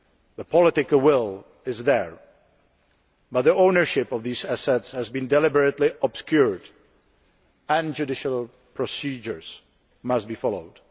The political will is there, but the ownership of these assets has been deliberately obscured, and judicial procedures must be followed.